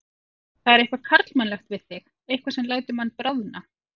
Það er eitthvað karlmannlegt við þig, eitthvað sem lætur mann bráðna.